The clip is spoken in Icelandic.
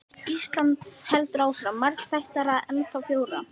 Íslands heldur áfram, margþættara, ennþá frjórra.